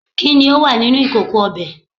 kini o wa mini ikoko obe